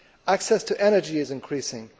Access to energy is increasing.